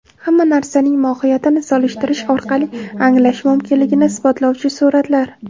Hamma narsaning mohiyatini solishtirish orqali anglash mumkinligini isbotlovchi suratlar.